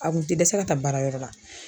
A kun tɛ dɛsɛ ka taa baarayɔrɔ la